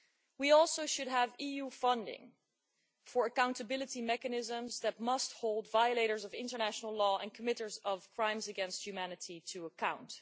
We also should have EU funding for accountability mechanisms that must hold violators of international law and those who commit crimes against humanity to account.